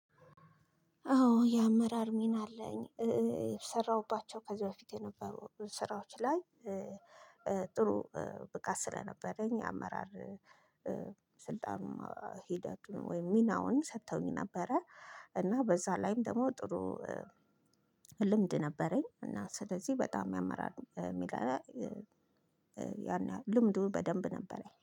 አዎ የአመራር ሚና አለኝ የሰራሁባቸው ከዚህ በፊት የነበሩ ስራዎች ላይ ጥሩ ብቃት ስለነበረኝ አመራር። ስልጣኑም ሂደቱም ወይም ሚናውን ሰጥተውኝ ነበረ። እና በዛ ላይም ደግሞ ጥሩ ልምድ ነበረኝ እና ስለዚህ በጣም ያመራል የሚለው። ያንህል ልምዱ በደንብ ነበረኝ